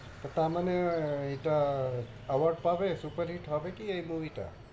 তার মানে এটা award পাবে? super hit হবে কি এই movie টা?